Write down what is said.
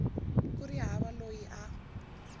ku ri hava loyi a